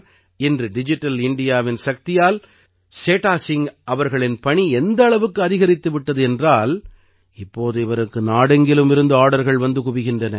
இன்று டிஜிட்டல் இந்தியாவின் சக்தியால் சேடா சிங் அவர்களின் பணி எந்த அளவுக்கு அதிகரித்து விட்டது என்றால் இப்போது இவருக்கு நாடெங்கிலும் இருந்து ஆர்டர்கள் வந்து குவிகின்றன